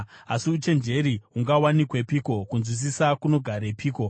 “Asi uchenjeri hungawanikwepiko? Kunzwisisa kunogarepiko?